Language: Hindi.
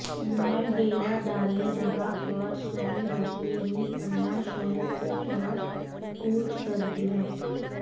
में डेरा डाले रहा और सुबह होते ही पन्ना शहर की तरफ कूच कर दिया